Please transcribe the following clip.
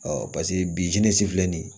paseke bizil filɛ nin ye